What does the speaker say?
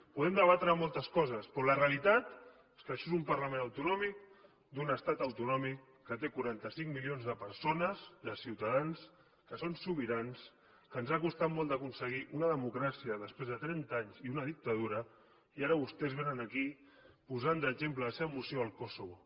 podem debatre moltes coses però la realitat és que això és un parlament autonòmic d’un estat autonòmic que té quaranta cinc milions de persones de ciutadans que són sobirans que ens ha costat molt d’aconseguir una democràcia després de trenta anys i una dictadura i ara vostès vénen aquí posant d’exemple en la seva moció el kosovo